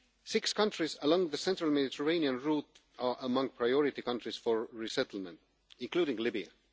Six countries along the central Mediterranean route are among priority countries for resettlement, including Libya.